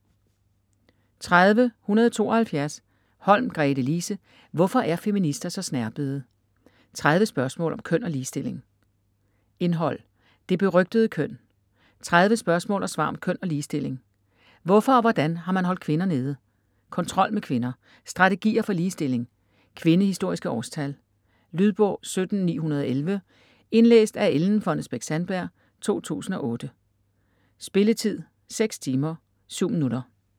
30.172 Holm, Gretelise: Hvorfor er feminister så snerpede?: 30 spørgsmål om køn og ligestilling Indhold: Det berygtede køn; 30 spørgsmål og svar om køn og ligestilling; Hvorfor og hvordan har man holdt kvinder nede?; Kontrol med kvinder; Strategier for ligestilling; Kvindehistoriske årstal. Lydbog 17911 Indlæst af Ellen Fonnesbech-Sandberg, 2008. Spilletid: 6 timer, 7 minutter.